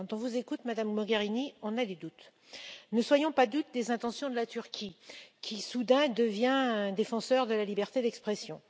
Quand on vous écoute Madame Mogherini, on a des doutes. Ne soyons pas dupes des intentions de la Turquie qui, soudain, devient défenseur de la liberté d'expression.